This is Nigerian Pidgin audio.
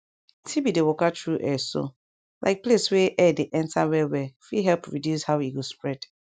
tb dey waka tru air so like place wey air dey enter well well fit help reduce how e go spread